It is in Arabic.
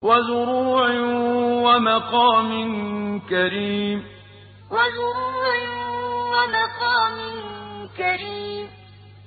وَزُرُوعٍ وَمَقَامٍ كَرِيمٍ وَزُرُوعٍ وَمَقَامٍ كَرِيمٍ